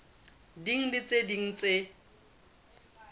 ding le tse ding tse